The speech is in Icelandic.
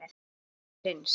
Hann er enginn prins.